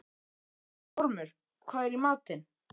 Ormur, hvað er í matinn?